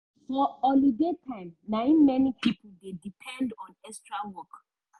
for holiday time na im many pipo dey depend on extra work.